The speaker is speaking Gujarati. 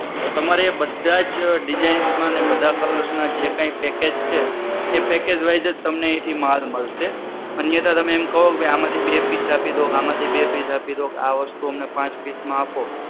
તો તમારે બધા જ design માં બધા colour ના જે કઈ package છે. એ package wise જ તમને અહીથી માલ મળશે. અન્યથા તમે કહો ભાઈ આમાંથી બે piece આપી દો આમાંથી બે piece આપી દો આ વસ્તુ અમને પાંચ piece માં આપો,